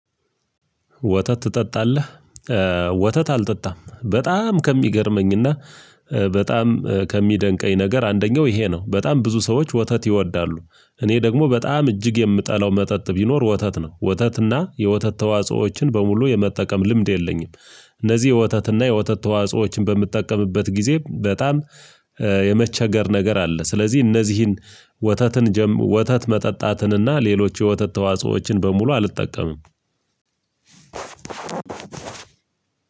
ወተት ትጠጣለህ? ወተት አልጠጣም። በጣም ከሚገርመኝና በጣም ከሚደንቀኝ ነገር አንደኛው ይሄ ነው በጣም ብዙ ሰዎች ወተት ይወዳሉ። እኔ ደግሞ በጣም እጅግ የምጠላው መጠጥ ቢኖር ወተት ነው። ወተትና የወተት ተዋጾዎችን በሙሉ የመጠቀም ልምድ የለኝም። እነዚህ የወተትና የወተት ተዋጽኦዎችን በምትጠቀምበት ጊዜ በጣም የመቸገር ነገር አለ። ስለዚህ እነዚህን ወተትን ወተት መጠጣትን እና ሌሎች የወተት ተዋጽኦዎችን በሙሉ አልጠቀምም።